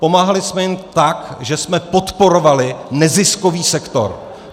Pomáhali jsme jim tak, že jsme podporovali neziskový sektor.